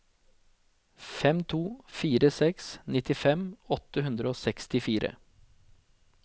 fem to fire seks nittifem åtte hundre og sekstifire